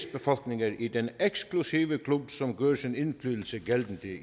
befolkninger i den eksklusive klub som gør sin indflydelse gældende